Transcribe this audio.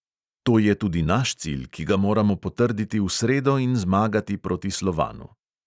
To je tudi naš cilj, ki ga moramo potrditi v sredo z zmago proti slovanu.